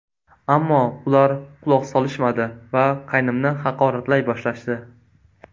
Ammo ular quloq solishmadi va qaynimni haqoratlay boshlashdi.